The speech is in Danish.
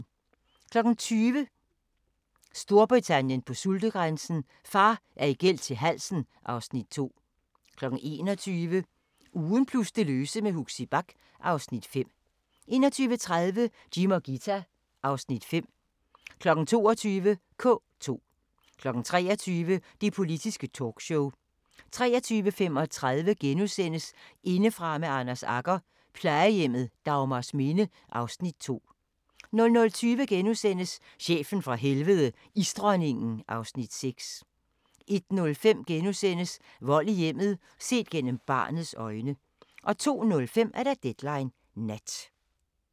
20:00: Storbritannien på sultegrænsen: Far er i gæld til halsen (Afs. 2) 21:00: Ugen plus det løse med Huxi Bach (Afs. 5) 21:30: Jim og Ghita (Afs. 5) 22:00: K2 23:00: Det Politiske Talkshow 23:35: Indefra med Anders Agger – Plejehjemmet Dagmarsminde (Afs. 2)* 00:20: Chefen fra Helvede – Isdronningen (Afs. 6)* 01:05: Vold i hjemmet – set gennem barnets øjne * 02:05: Deadline Nat